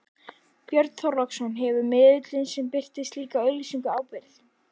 Björn Þorláksson: Hefur miðillinn sem birtir slíka auglýsingu ábyrgð?